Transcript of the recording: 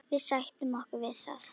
Við sættum okkur við það.